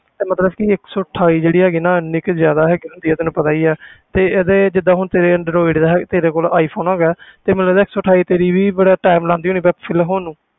ਤੇ ਮਤਲਬ ਕਿ ਇੱਕ ਸੌ ਅਠਾਈ ਜਿਹੜੀ ਹੈਗੀ ਨਾ ਇੰਨੀ ਕੁ ਜ਼ਿਆਦਾ ਹੁੰਦੀ ਹੈ ਤੈਨੂੰ ਪਤਾ ਹੀ ਆ ਤੇ ਇਹਦੇ ਜਿੱਦਾਂ ਹੁਣ ਤੇਰੇ android ਦਾ ਹੈ ਤੇਰੇ ਕੋਲ iphone ਹੈਗਾ ਹੈ ਤੇ ਮਤਲਬ ਇੱਕ ਸੌ ਅਠਾਈ ਤੇਰੀ ਵੀ ਬੜਾ time ਲਾਉਂਦੀ ਹੋਣੀ full ਹੋਣ ਨੂੰ,